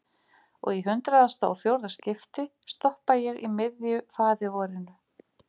Og í hundraðasta og fjórða skipti stoppa ég í miðju faðirvorinu.